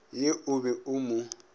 ye o be o mo